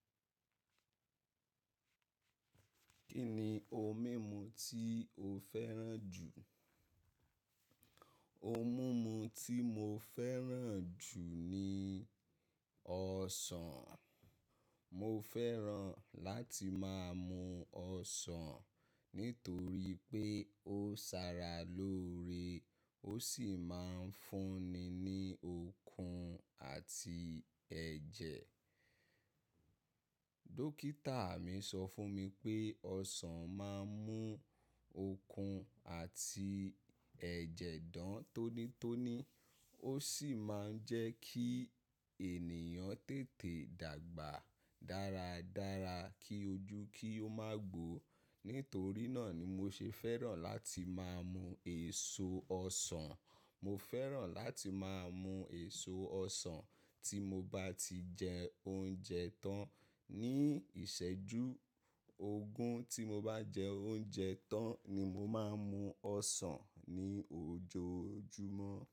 Kí ni ohun mímu tí o fẹ́ràn jù? Ohun mímu tí mo fẹ́ràn jù ni ọsàn. Mo fẹ́ràn láti máa mu ọsàn nítorí pé ó sara lóore, ó sì máa ń fún ni ní okun àti ẹ̀jẹ̀. Dókítà mi sọ fún mi pé ọsàn máa ń mú okun àti ẹ̀jẹ̀ dán tónítóní, ó sì máa ń jẹ́ kí ènìyàn tètè dàgbà dáradára kí ojú kí ó má gbo. Nítorí náà ni mo ṣe fẹ́ràn láti máa mu èso ọsàn. Mo fẹ́ràn láti máa mu èso ọsàn tí mo bá ti jẹ oúnjẹ tán ní ìṣẹ́jú ogún, tí mo bá jẹ oúnjẹ tán ni mo máa ń mu ọsàn ní ojoojúmọ́.